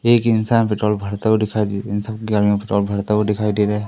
एक इंसान पेट्रोल भरता हुआ दिखाई दे इन सब के गाड़ीयों मे पेट्रोल भरता हुआ दिखाई दे रहा है।